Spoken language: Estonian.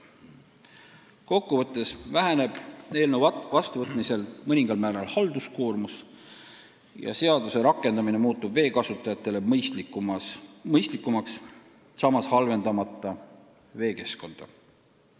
Kokku võttes väheneb eelnõu vastuvõtmisel mõningal määral halduskoormus ja seaduse rakendamine muutub vee kasutajatele mõistlikumaks, samas halvendamata veekeskkonda.